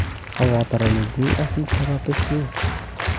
Xavotirimizning asl sababi shu.